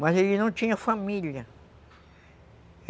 Mas ele não tinha família.